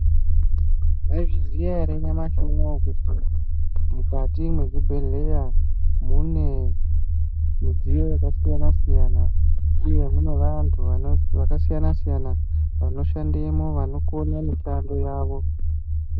Mwaizviziya ere nyamashi unouwu kuti mukati mwezvibhedhleya mune midziyo yakasiyana-siyana uye mune vantu vakasiyana-siyana vanoshandemo vanokone mishando yavo?